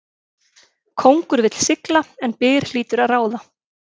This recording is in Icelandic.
Kóngur vill sigla en byr hlýtur að ráða.